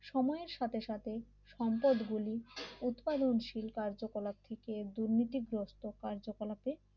সময়ের সাথে সাথে সম্পদ গুলি উৎপাদনশীল কার্যকলাপ থেকে দুর্নীতিগ্রস্ত কার্যকলাপে